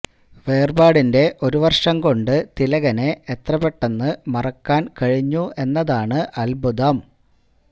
വേര്പാടിന്റെ ഒരുവര്ഷം കൊണ്ട് തിലകനെ എത്രപെട്ടെന്ന് മറക്കാന് കഴിഞ്ഞു എന്നതാണ് അദ്ഭുതം